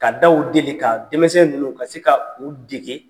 Ka dege ka denmisɛn ninnu ka se ka u dege.